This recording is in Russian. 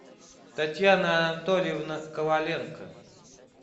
татьяна анатольевна коваленко